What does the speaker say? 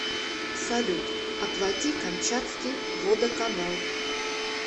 салют оплати камчатский водоканал